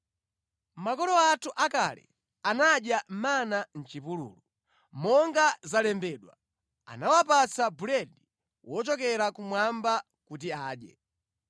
Makolo athu akale anadya mana mʼchipululu; monga zalembedwa: ‘anawapatsa buledi wochokera kumwamba kuti adye.’ ”